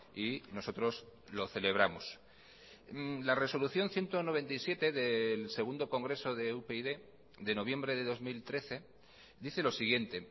y nosotros lo celebramos la resolución ciento noventa y siete del segundo congreso de upyd de noviembre de dos mil trece dice lo siguiente